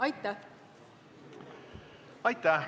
Aitäh!